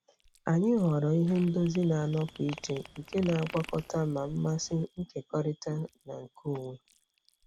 Anyị họọrọ ihe ndozi na-anọpụ iche nke na-agwakọta ma mmasị nkekọrịtara na nke onwe.